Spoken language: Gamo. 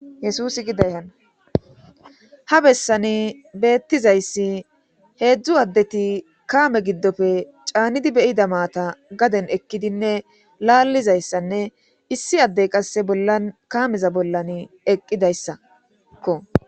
yesusi gidayhanna ha bessani beettizayssi heedzdzu addeti kaame giddofe caannidi beyida maata gaden ekkidinne laallizayssanne issi addey qasse bollan kaameza bollan eqqidayssakko